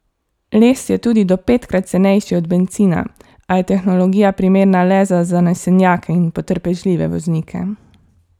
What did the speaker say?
Les je tudi do petkrat cenejši od bencina, a je tehnologija primerna le za zanesenjake in potrpežljive voznike.